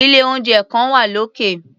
Ilé-oúnjẹ kan wà lókè.